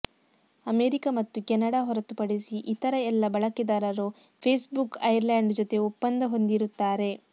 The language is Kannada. ಅಮೆರಿಕ ಮತ್ತು ಕೆನಡಾ ಹೊರತುಪಡಿಸಿ ಇತರ ಎಲ್ಲ ಬಳಕೆದಾರರು ಫೇಸ್ಬುಕ್ ಐರ್ಲಂಡ್ ಜೊತೆ ಒಪ್ಪಂದ ಹೊಂದಿರುತ್ತಾರೆ